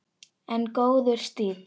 En góður stíll!